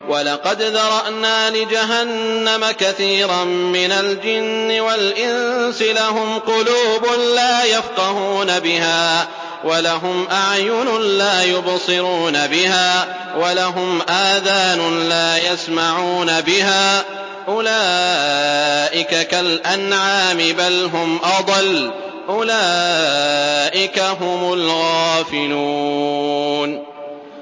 وَلَقَدْ ذَرَأْنَا لِجَهَنَّمَ كَثِيرًا مِّنَ الْجِنِّ وَالْإِنسِ ۖ لَهُمْ قُلُوبٌ لَّا يَفْقَهُونَ بِهَا وَلَهُمْ أَعْيُنٌ لَّا يُبْصِرُونَ بِهَا وَلَهُمْ آذَانٌ لَّا يَسْمَعُونَ بِهَا ۚ أُولَٰئِكَ كَالْأَنْعَامِ بَلْ هُمْ أَضَلُّ ۚ أُولَٰئِكَ هُمُ الْغَافِلُونَ